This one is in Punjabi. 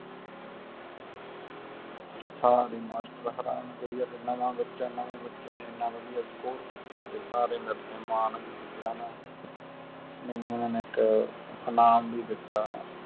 ਸਾਰੇ ਮਾਸਟਰ ਹੈਰਾਨ ਵੀ ਆ ਨਾਵਾਂ ਬਚਾ ਨਵੇਂ ਬੱਚੇ ਨੇ ਏਨਾ ਵਦੀਆ score ਕੀਤਾ ਤੇ ਸਾਰੇ ਮੇਰੇ ਤੇ ਮਾਨ ਵੀ ਕੀਤਾ ਨਾ ਮੇਨੂ ਓਹਨਾ ਨੇ ਇਨਾਮ ਵੀ ਦਿਤਾ